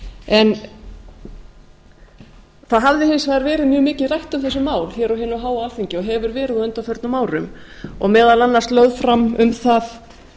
en það hafði hins vegar verið mjög mikið rætt um þessi mál hér á hinu háa alþingi og hefur verið á undanförnum árum og meðal annars lögð fram um það